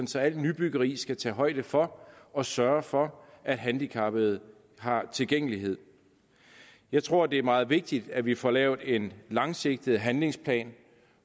så al nybyggeri skal tage højde for og sørge for at handicappede har tilgængelighed jeg tror det er meget vigtigt at vi får lavet en langsigtet handlingsplan